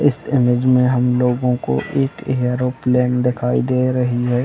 इस इमेज में हम लोगों को एक एरोप्लेन दिखाई दे रही है।